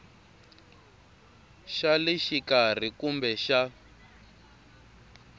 xa le xikarhi kumbe xa